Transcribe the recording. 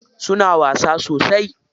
Suna wasa sosai?